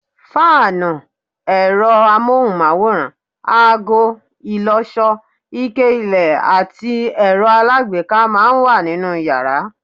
Fáànù, ẹ̀rọ amóhùnmáwòrán, ago, ìlọṣọ, ike ilẹ̀ àti ẹ̀rọ alágbèéká máa ń wà nínú yàrá